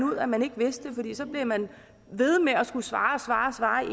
ud at man ikke vidste det for så blev man ved med at skulle svare